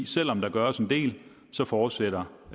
selv om der gøres en del fortsætter